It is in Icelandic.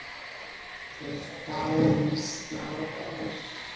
Til dæmis þá er